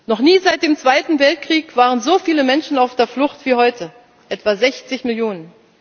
Noch nie seit dem Zweiten Weltkrieg waren so viele Menschen auf der Flucht wie heute etwa sechzig Millionen.